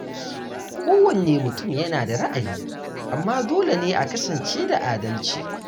Kowanne mutum yana da ra’ayi, amma dole ne a kasance da adalci.